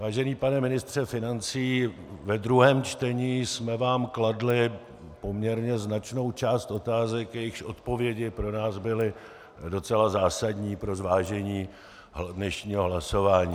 Vážený pane ministře financí, v druhém čtení jsme vám kladli poměrně značnou část otázek, jejichž odpovědi pro nás byly docela zásadní pro zvážení dnešního hlasování.